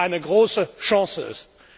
eine große Chance ist.